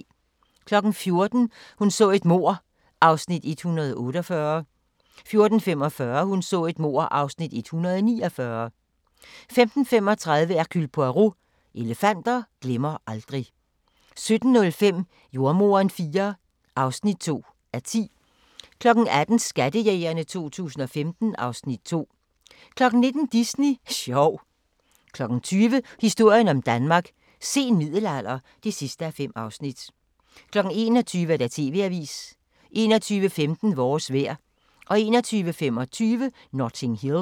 14:00: Hun så et mord (148:267) 14:45: Hun så et mord (149:267) 15:35: Hercule Poirot: Elefanter glemmer aldrig 17:05: Jordemoderen IV (2:10) 18:00: Skattejægerne 2015 (Afs. 2) 19:00: Disney sjov 20:00: Historien om Danmark: Sen middelalder (5:5) 21:00: TV-avisen 21:15: Vores vejr 21:25: Notting Hill